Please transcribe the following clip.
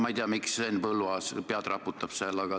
Ma ei tea, miks Henn Põlluaas pead raputab.